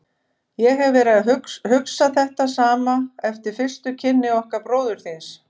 Ég hef verið að hugsa þetta sama eftir fyrstu kynni okkar bróður þíns.